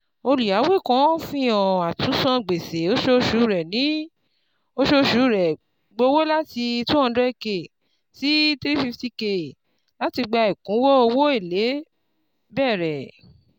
Olùyáwó kan fihàn àtúnsan gbèsè osoosù rẹ̀ osoosù rẹ̀ gbówó láti N two hundred k sí N three hundred fifty K láti ìgbà ẹkúnwó owó èlé bẹ̀rẹ̀.